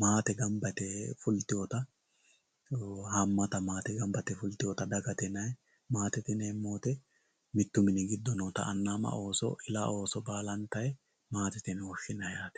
maate ganba yite fultewota haamata daga ganba yite fultewota dagate yinayi maatete yinemo woyite mittu mini giddo hedhawota ana ama ooso baalantayi maatete yine woshinayi yaate